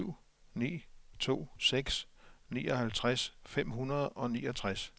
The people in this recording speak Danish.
syv ni to seks nioghalvtreds fem hundrede og niogtres